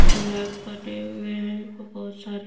बने हुए हैं और बहुत सारे--